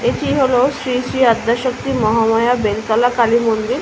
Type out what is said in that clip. এটি হলো শ্রী শ্রী আদ্যশক্তির মহামায়া বেলতলা কালী মন্দির।